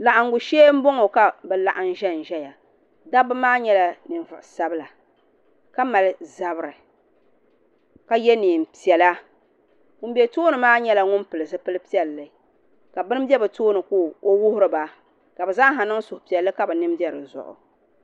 Laɣimbu shee n bɔŋɔ ka bi laɣim zɛn zɛya dabba maa yɛla ninvuɣi sabila ka mali zabiri ka yiɛ nɛɛn piɛlla ŋuni bɛ tooni maa yɛla ŋuni pili zupili piɛlli ka bi ni bɛ bi tooni ka o wuhiri ba ka bi zaaha niŋ suhi piɛli ka bi nini bɛ di zuɣu.